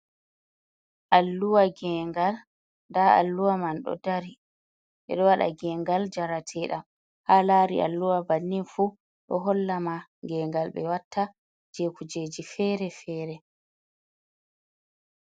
Alluwa gengal nda alluwa man ɗo dari waɗa gengal jarateɗam ha lari alluwa bannin fu ɗo hollama gengal ɓe watta je kujeji fere-fere.